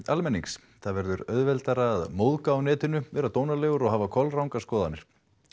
almennings það verður auðveldara að móðga á netinu vera dónalegur og hafa kolrangar skoðanir